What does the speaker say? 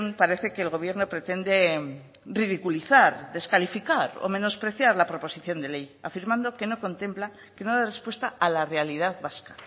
parece que el gobierno pretende ridiculizar descalificar o menospreciar la proposición de ley afirmando que no contempla que no da respuesta a la realidad vasca